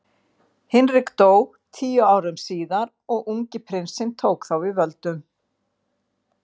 Hinrik dó tíu árum síðar og ungi prinsinn tók þá við völdum.